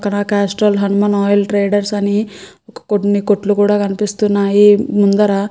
ఇక్కడ కాస్ట్రయిల్ Hanuman oil traders అని కొన్ని కొట్ట్లు కూడా కనిపిస్తున్నాయి. ముందర --